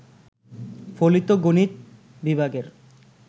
ফলিত গণিত বিভাগের